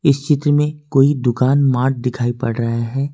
इस चित्र मे कोई दुकान मार्ट दिखाई पड़ रहे हैं।